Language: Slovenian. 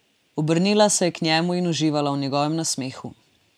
Obrnila se je k njemu in uživala v njegovem smehu.